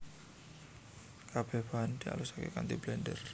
Kabeh bahan dialusake kanthi blender